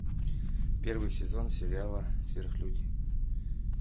первый сезон сериала сверхлюди